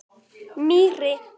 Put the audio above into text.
Mýri